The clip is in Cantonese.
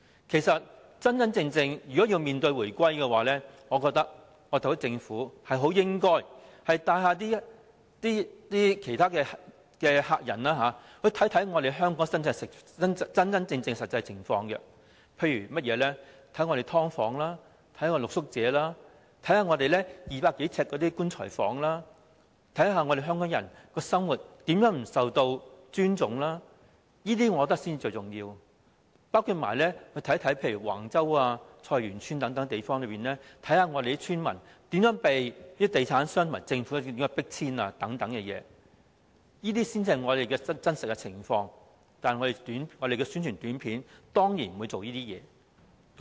其實，如果要真正面對回歸，我認為政府應該帶遊客去看看香港的真實情況，例如參觀"劏房"、探訪露宿者或參觀200多呎的"棺材房"，看看香港人的生活如何不受尊重，我覺得這些才是最重要的；又例如參觀橫洲、菜園村等地方，看看村民如何遭地產商和政府迫遷等，這些才是香港的真實情況，但宣傳短片當然不會展現這些情況。